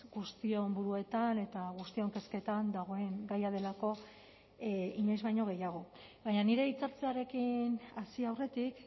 guztion buruetan eta guztion kezketan dagoen gaia delako inoiz baino gehiago baina nire hitzartzearekin hasi aurretik